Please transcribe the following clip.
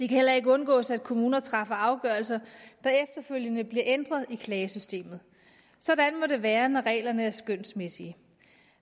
heller ikke undgås at kommuner træffer afgørelser der efterfølgende bliver ændret i klagesystemet sådan må det være når reglerne er skønsmæssige